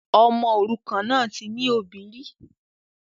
Ọmọ òrukàn náà ti ní òbí rí